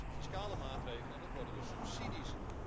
Dat worden dus fiscale maatregelen en dat worden dus subsidies.